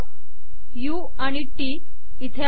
उ OF TT इथे आहे